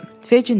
Fecin dedi.